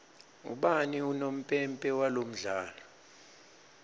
ubani unompempe walomdlalo